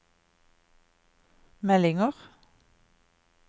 meldinger